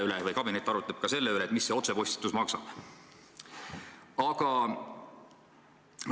Ja kabinet arutleb ka selle üle, mis see otsepostitus maksab.